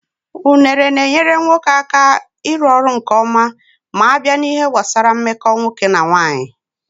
Unere na-enyere nwoke aka iru ọrụ nkeọma m'abịa n'ihe gbasaranna mmeko nwoke na nwanyị.